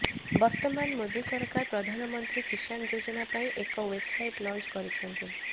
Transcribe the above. ବର୍ତ୍ତମାନ ମୋଦି ସରକାର ପ୍ରଧାନମନ୍ତ୍ରୀ କିସାନ ଯୋଜନା ପାଇଁ ଏକ ୱେବସାଇଟ ଲଞ୍ଚ କରିଛନ୍ତି